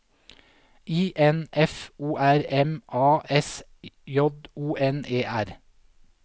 I N F O R M A S J O N E R